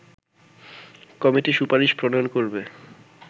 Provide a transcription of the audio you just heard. committee সুপারিশ প্রণয়ন করবে